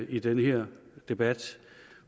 i den her debat